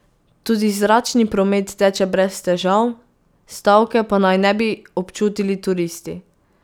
Tudi zračni promet teče brez težav, stavke pa naj ne bi občutili turisti.